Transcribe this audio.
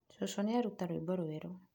Shusho nĩ aruta rwĩmbo rwerũ.